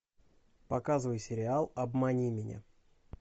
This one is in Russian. показывай сериал обмани меня